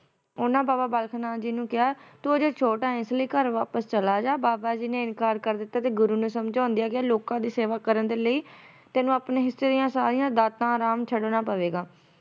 ਉਹਨਾਂ ਬਾਬਾ ਬਾਲਕ ਨਾਥ ਜੀ ਨੂੰ ਕਿਹਾ ਤੂੰ ਹਜੇ ਛੋਟਾ ਆ ਇਸ ਲਈ ਘਰ ਵਾਪਸ ਚਲਾ ਜਾ ਬਾਬਾ ਜੀ ਨੇ ਇਨਕਾਰ ਕਰ ਦਿੱਤਾ ਤੇ ਗੁਰੂ ਨੇ ਸਮਝਾਉਂਦਿਆਂ ਕਿਹਾ ਲੋਕਾਂ ਦੀ ਸੇਵਾ ਕਰਨ ਦੇ ਲਈ ਤੈਨੂੰ ਆਪਣੇ ਹਿੱਸੇ ਦੀਆਂ ਸਾਰੀਆਂ ਦਾਤਾਂ ਅਰਾਮ ਛੱਡਣਾ ਪਵੇਗਾ।